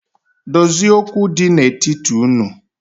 Dozie okwu di n’etiti unu